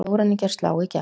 Sjóræningjar slá í gegn